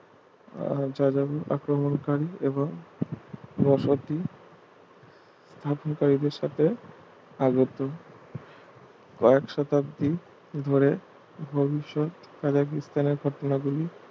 আহ যাযাবর আক্রমকারি এবং বসতি স্থাপনকারীদের সাথে আগত কয়েক শতাব্দী ধরে ভবিষ্যৎ কাজাকিস্তানের ঘটনা গুলি